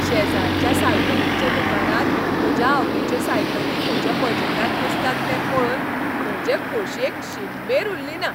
शेजारच्या सायकलींच्या दुकानांत म्हज्या आवडीच्यो सायकली म्हज्या बजेटांत बसतात तें पळोवन म्हजे खोशयेक शीममेर उरलीना.